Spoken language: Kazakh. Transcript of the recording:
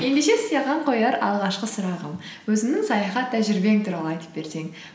ендеше саған қояр алғашқы сұрағым өзіңнің саяхат тәжірибең туралы айтып берсең